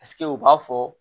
Paseke u b'a fɔ